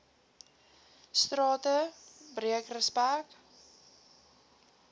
strate breek respek